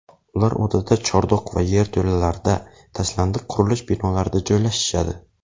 Ular odatda chordoq va yerto‘lalarda, tashlandiq qurilish binolarida joylashishadi.